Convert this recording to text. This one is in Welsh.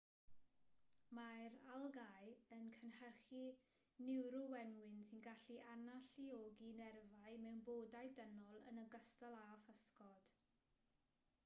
mae'r algâu yn cynhyrchu niwrowenwyn sy'n gallu analluogi nerfau mewn bodau dynol yn ogystal â physgod